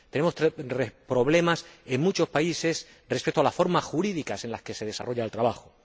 Tenemos problemas en muchos países respecto a las formas jurídicas en las que se desarrolla el trabajo.